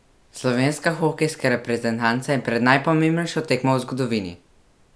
Slovenska hokejska reprezentanca je pred najpomembnejšo tekmo v zgodovini!